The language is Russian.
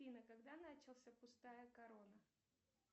афина когда начался пустая корона